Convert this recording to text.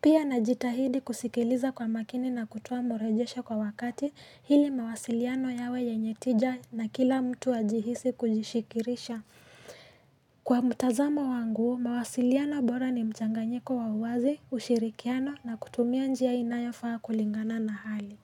Pia najitahidi kusikiliza kwa makini nakutoa marejesho kwa wakati hili mawasiliano yawe yenye tija na kila mtu ajihisi kujishikirisha. Kwa mtazamo wangu, mawasiliano bora ni mchanganyiko wa wazi, ushirikiano na kutumia njia inayofaa kulingana na hali.